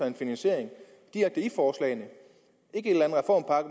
en finansiering hvor